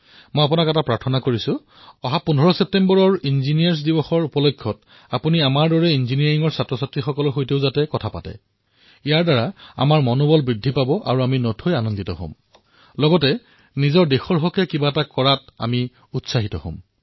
মই আপোনাক নিবেদন কৰিছোঁ যে অনাগত ১৫ ছেপ্টেম্বৰত যি ইঞ্জিনীয়াৰিং ডে পালন কৰা হব সেই উপলক্ষে যদি আপুনি আমাৰ দৰে ইঞ্জিনীয়াৰিং শিক্ষাৰ্থীসকলৰ সৈতে কিছু কথা পাতে যাৰ দ্বাৰা আমাৰ মনোবল বৃদ্ধি হব আৰু অনাগত দিনসমূহত দেশৰ বাবে কিবা এটা কৰাৰ উৎসাহ পাম